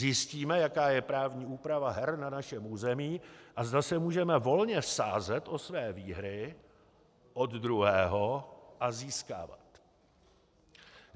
Zjistíme, jaká je právní úprava her na našem území a zda se můžeme volně sázet a své výhry od druhého a získávat.